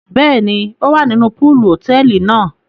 Bẹẹni, o wá nínú poolu hotẹẹli náà